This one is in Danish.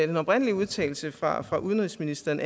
den oprindelige udtalelse fra fra udenrigsministeren